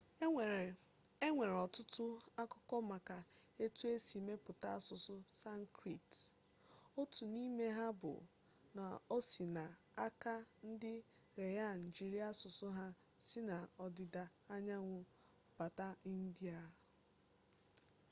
enwere ọtụtụ akụkọ maka etu e si mepụta asụsụ sanskrit otu n'ime ha bụ na o si n'aka ndị aryan jiiri asụsụ ha si n'ọdịda anyanwụ bata india